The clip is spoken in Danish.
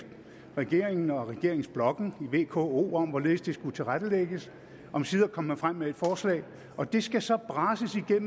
regeringen og regeringsblokken i vko om hvorledes det skulle tilrettelægges omsider kom man frem med et forslag og det skal så brases igennem